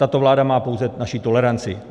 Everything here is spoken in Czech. Tato vláda má pouze naši toleranci.